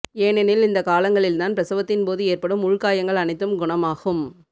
ஏனெனில் இந்த காலங்களில் தான் பிரசவத்தின் போது ஏற்படும் உள்காயங்கள் அனைத்தும் குணமாகும்